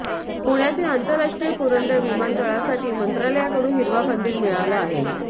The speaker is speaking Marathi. पुण्यातील आंतराष्ट्रीय पुरंदर विमानतळासाठी मंत्रालयाकडून हिरवा कंदील मिळाला आहे